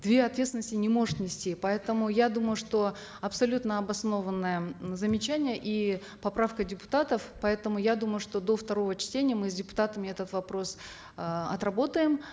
две ответственности не может нести поэтому я думаю что абсолютно обоснованное замечание и поправка депутатов поэтому я думаю что до второго чтения мы с депутатами этот вопрос э отработаем